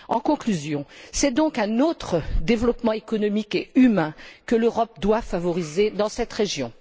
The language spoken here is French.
En conclusion, c'est donc un autre développement économique et humain que l'Europe doit favoriser dans cette région.